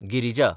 Girija